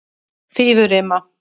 Fífurima